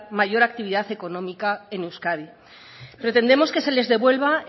mayor actividad económica en euskadi pretendemos que se les devuelva